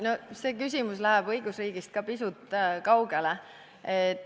No see küsimus läheb ka õigusriigist pisut kaugele.